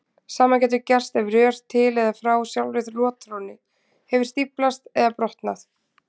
Sama getur gerst ef rör til eða frá sjálfri rotþrónni hefur stíflast eða brotnað.